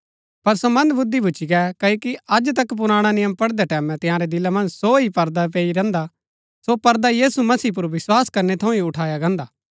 पर सो मन्दबुद्धी भूच्ची गै क्ओकि अज तक पुराणा नियम पढ़दै टैमैं तंयारै दिला मन्ज सो ही पर्दा पैई रैहन्दा सो पर्दा यीशु मसीह पुर विस्वास करनै थऊँ ही उठाया गान्दा हा